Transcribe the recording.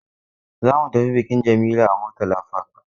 Za mu tafi bikin Jamila a Murtala Park.